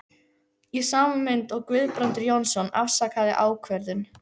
Í sama mund og Guðbrandur Jónsson afsakaði ákvörðun